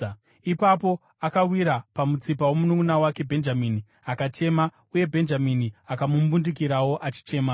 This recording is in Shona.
Ipapo akawira pamutsipa womununʼuna wake Bhenjamini akachema, uye Bhenjamini akamumbundikirawo achichema.